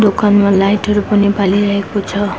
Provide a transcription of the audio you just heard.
दोकानमा लाइट हरू पनि वाली रहेकाे छ।